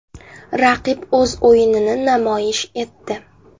Raqib o‘z o‘yinini namoyish etdi.